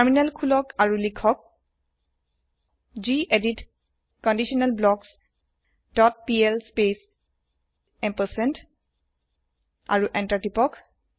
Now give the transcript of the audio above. terminal খুলক আৰু লিখক gedit conditional blocks dot pl space ampersand আৰু এন্টাৰ তিপক